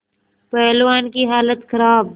पहलवान की हालत खराब